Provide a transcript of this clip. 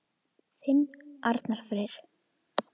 Þinn Arnar Freyr.